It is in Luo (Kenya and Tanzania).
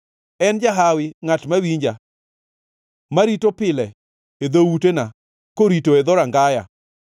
En jahawi ngʼat mawinja, marito pile e dhoutena korito e dhorangaya.